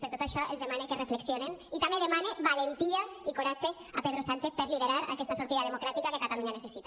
per tot això els demane que reflexionen i també demane valentia i coratge a pedro sánchez per liderar aquesta sortida democràtica que catalunya necessita